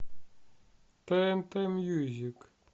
тнт мьюзик